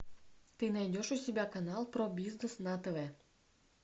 ты найдешь у себя канал про бизнес на тв